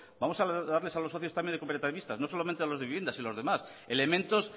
vamos a darles a los socios también cooperativistas no solamente a los de vivienda sino a los demás elementos